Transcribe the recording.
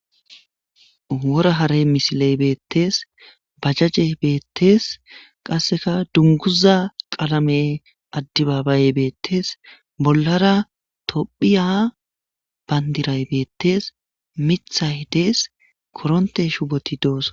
Wora hare misiley betes, qase dunguza qalame adebabayey betes, bollara tophiya bandiray betes, mithayi des,koronte shuboti dosona